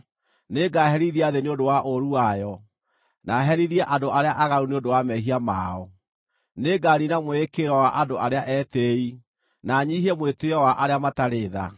Nĩngaherithia thĩ nĩ ũndũ wa ũũru wayo, na herithie andũ arĩa aaganu nĩ ũndũ wa mehia mao. Nĩnganiina mwĩĩkĩrĩro wa andũ arĩa etĩĩi, na nyiihie mwĩtĩĩo wa arĩa matarĩ tha.